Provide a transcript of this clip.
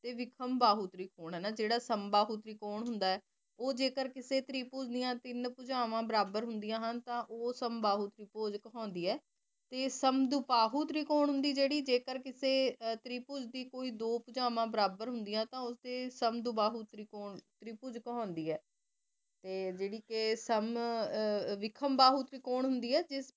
ਤੇ ਸੰਦੋਭਾਉ ਤਰੀਕੋੰ ਹੁੰਦੀ ਜੇਰੀ ਜੇ ਕਰ ਕਿਸੇ ਤ੍ਰਿਪੁਜ਼ਾਕ ਦੀ ਕੋਈ ਦੋ ਭੁਜਾਵਾਂ ਬਰਾਬਰ ਹੁੰਦਿਯਾ ਤੇ ਉਸੀ ਸਮ ਦੋਬਾਹੁ ਤਰੀਕੋੰ ਤ੍ਰਿਪੁਜ਼ਿਕ ਹੁੰਦੀ ਆਯ ਤੇ ਜੇਰੀ ਕੇ ਸਮ ਵਿਖਾਮ੍ਬਾਹੁਕ ਤਰੀਕੋੰ ਹੁੰਦੀ ਆਯ ਜਿਸ